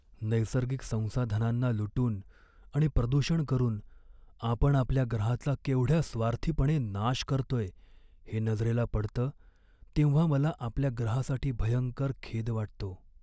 नैसर्गिक संसाधनांना लुटून आणि प्रदूषण करून आपण आपल्या ग्रहाचा केवढ्या स्वार्थीपणे नाश करतोय हे नजरेला पडतं तेव्हा मला आपल्या ग्रहासाठी भयंकर खेद वाटतो.